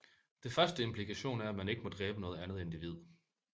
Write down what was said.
Det første implikation er man ikke må dræbe noget andet individ